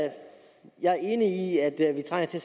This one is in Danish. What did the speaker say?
jeg er enig i at vi trænger til